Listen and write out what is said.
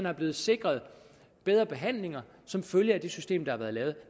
er blevet sikret bedre behandlinger som følge af det system der er blevet